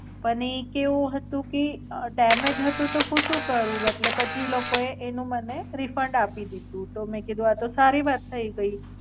પણ ઈ કેવું હતું કે ડેમેજ હતું તો હું શું કરું એટલે પછી એ લોકો એ એનો મને refund આપી દીધું તો મેં કીધું કે આ તો સારી વાત થઈ ગઈ.